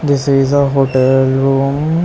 This is a hotel room.